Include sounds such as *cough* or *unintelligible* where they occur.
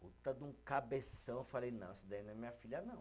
*unintelligible* Cabeção, eu falei, não, isso daí não é minha filha, não.